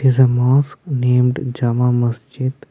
Is a mosque named jama masjid.